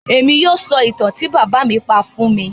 Émi yóò sọ ìtan ti bábà mi pa fun mi.